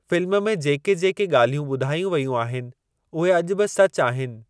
Film में जेके जेके ॻाल्हियूं ॿुधायूं वयूं आहिनि उहे अॼु बि सचु आहिनि।